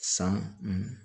San